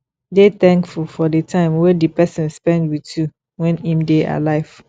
dey thankful for the time wey di person spend with you when im dey alive